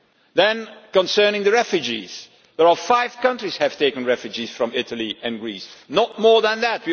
Then, concerning the refugees there are five countries which have taken refugees from Italy and Greece not more than that.